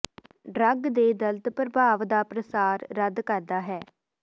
drug ਦੇ ਦਰਦ ਪ੍ਰਭਾਵ ਦਾ ਪ੍ਰਸਾਰ ਰੱਦ ਕਰਦਾ ਹੈ